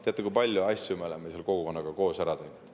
Teate, kui palju asju me oleme seal kogukonnaga koos ära teinud.